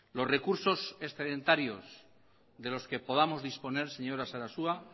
los recursos excedentarios de los que podamos disponer señora sarasua